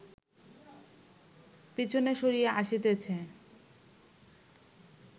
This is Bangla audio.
পিছনে সরিয়া আসিতেছে